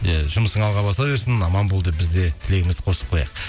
иә жұмысың алға баса берсін аман бол деп біз де тілегімізді қосып қояйық